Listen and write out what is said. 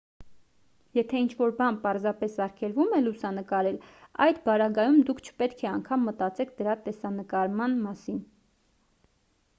եթե ինչ-որ բան պարզապես արգելվում է լուսանկարել այդ պարագայում դուք չպետք է անգամ մտածեք դրա տեսանկարման մասին